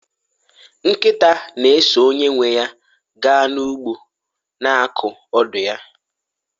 nkịta na-eso onye nwe ya gaa n'ugbo, na-akụ ọdụ ya